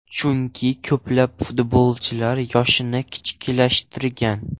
Chunki ko‘plab futbolchilar yoshini kichiklashtirgan.